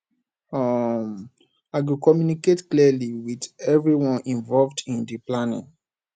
um i go communicate clearly with everyone involved in di planning